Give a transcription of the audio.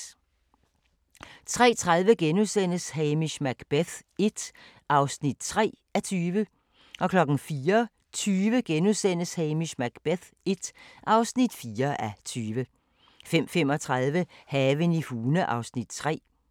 03:30: Hamish Macbeth l (3:20)* 04:20: Hamish Macbeth l (4:20)* 05:35: Haven i Hune (Afs. 3)